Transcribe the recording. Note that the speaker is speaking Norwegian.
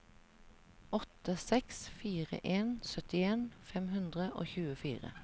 åtte seks fire en syttien fem hundre og tjuefire